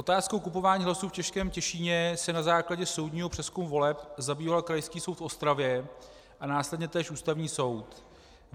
Otázkou kupování hlasů v Českém Těšíně se na základě soudního přezkumu voleb zabýval Krajský soud v Ostravě a následně též Ústavní soud.